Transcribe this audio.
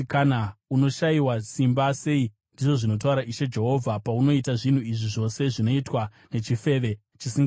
“ ‘Unoshayiwa simba sei, ndizvo zvinotaura Ishe Jehovha, paunoita zvinhu izvi zvose, zvinoitwa nechifeve chisinganyari.